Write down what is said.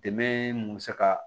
Dɛmɛ mun bɛ se ka